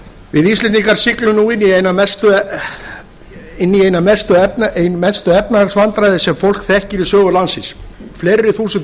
við íslendingar siglum nú inn í ein mestu efnahagsvandræði sem fólk þekkir í sögu landsins fleiri þúsund